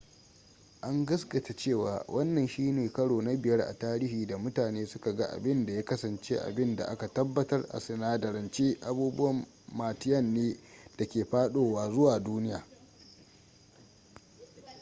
an gaskata cewa wannan shine karo na biyar a tarihi da mutane suka ga abin da ya kasance abin da aka tabbatar a sinadarance abubuwan martian ne da ke fadowa zuwa duniya